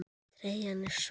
Treyjan er svört.